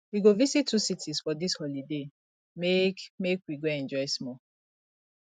we go visit two cities for dis holiday make make we enjoy small